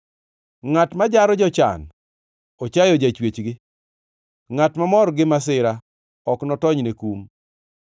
Ngʼat ma jaro jochan ochayo Jachwechgi; ngʼat mamor gi masira ok notony ne kum.